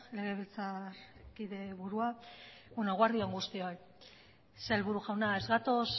legebiltzarkide burua eguerdi on guztioi sailburu jauna ez gatoz